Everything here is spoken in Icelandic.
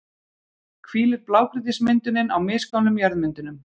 hvílir blágrýtismyndunin á misgömlum jarðmyndunum.